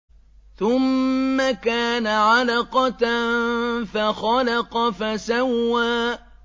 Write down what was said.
ثُمَّ كَانَ عَلَقَةً فَخَلَقَ فَسَوَّىٰ